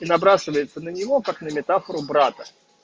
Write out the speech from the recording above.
и набрасывается на него как на метафору брата